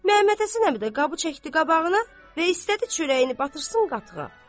Məmmədhəsən əmi də qabı çəkdi qabağına və istədi çörəyini batırsın qatığa.